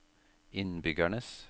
innbyggernes